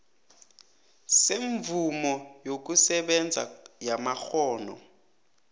semvumo yokusebenza yamakghono